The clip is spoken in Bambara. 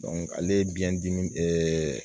ale ye biyɛndimi